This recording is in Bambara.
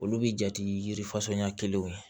Olu bi jate yirifasɔnya kelenw ye